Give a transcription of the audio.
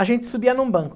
A gente subia num banco.